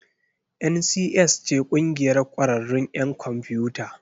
NCS ce ƙungiyar ƙwararrun 'yan kwamfiyuta.